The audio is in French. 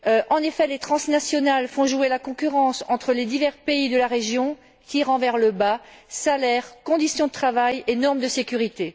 En effet, les transnationales font jouer la concurrence entre les divers pays de la région, tirant vers le bas salaires, conditions de travail et normes de sécurité.